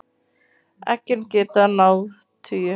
Eggin geta náð tugi.